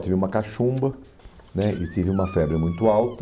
Eu tive uma cachumba né e tive uma febre muito alta.